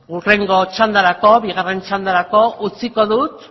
hurrengo txandarako bigarren txandarako utziko dut